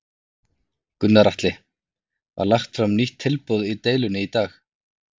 Gunnar Atli: Var lagt fram nýtt tilboð í deilunni í dag?